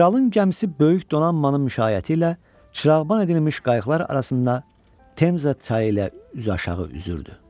Kralın gəmisi böyük donanmanın müşayiəti ilə çırağban edilmiş qayıqlar arasında Temze çayı ilə üzüaşağı üzürdü.